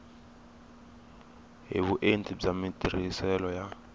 hi vuenti bya matirhiselo ya